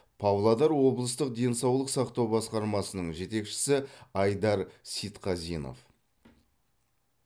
павлодар облыстық денсаулық сақтау басқармасының жетекшісі айдар сейтқазинов